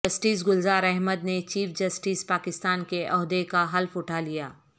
justice Gulzar Ahmed نے Chief Justice Pakistan کے عہدے کا حلف اٹھا لیا